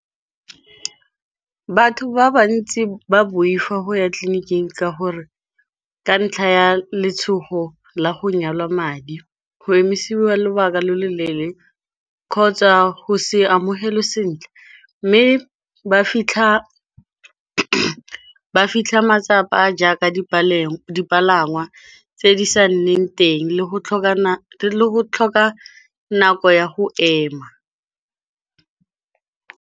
Batho ba bantsi ba boifa go ya tleleniking ka gore, ka ntlha ya letshogo la go nyalwa madi, go emisiwa lobaka lo lo leele kgotsa go se amogelwa sentle. Mme ba fitlha matsapa jaaka dipalangwa tse di sa nneng teng, le go tlhoka nako ya go ema.